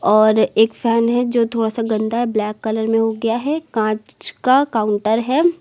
और एक फैन है जो थोड़ा सा गंदा है ब्लैक कलर का हो गया है कांच का काउंटर है।